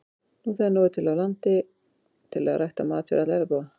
Nú þegar er til nóg af landi til að rækta mat fyrir alla jarðarbúa.